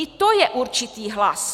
I to je určitý hlas.